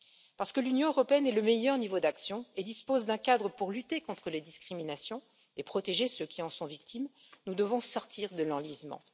Parce que l'Union européenne est le meilleur niveau d'action et dispose d'un cadre pour lutter contre les discriminations et protéger ceux qui en sont victimes, nous devons sortir de l'enlisement.